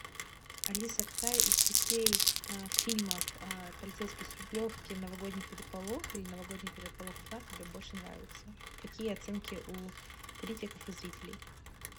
алиса какая из частей фильмов полицейский с рублевки новогодний переполох или новогодний переполох два тебе больше нравится какие оценки у критиков и зрителей